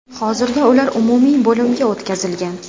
Hozirda ular umumiy bo‘limga o‘tkazilgan.